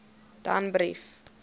danbrief